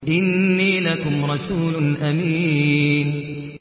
إِنِّي لَكُمْ رَسُولٌ أَمِينٌ